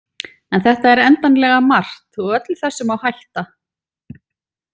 En þetta er endanlega margt og öllu þessu má hætta.